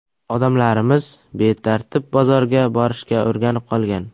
Odamlarimiz betartib bozorga borishga o‘rganib qolgan.